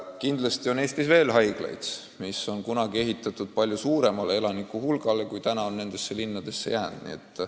Kindlasti on Eestis veel haiglaid, mis on kunagi ehitatud palju suuremale elanikehulgale, kui nüüdseks on nendesse linnadesse jäänud.